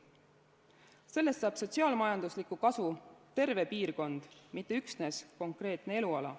Sellest saab sotsiaal-majanduslikku kasu terve piirkond, mitte üksnes konkreetne eluala.